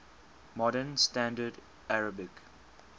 modern standard arabic